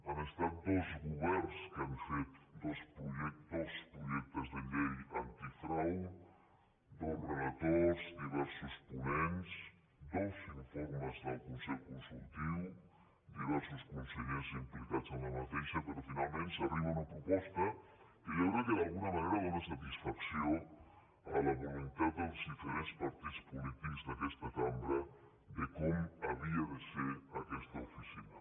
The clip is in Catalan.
han estat dos governs els que han fet dos projectes de llei antifrau dos relators diversos ponents dos informes del consell consultiu diversos consellers implicats però finalment s’arriba a una proposta que jo crec que d’alguna manera dóna satisfacció a la voluntat dels diferents partits polítics d’aquesta cambra de com havia de ser aquesta oficina